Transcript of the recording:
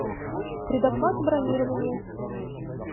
предоплата бронирования